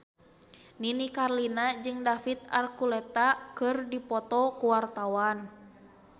Nini Carlina jeung David Archuletta keur dipoto ku wartawan